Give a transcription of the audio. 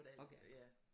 Ork ja